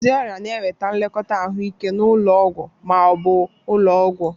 Ndị ọrịa na-enweta nlekọta ahụike n'ụlọ ọgwụ ma ọ bụ ụlọ ọgwụ.